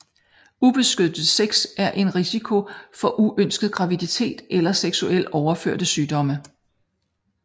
Ubeskyttet sex er en risiko for uønsket graviditet eller seksuelt overførte sygdomme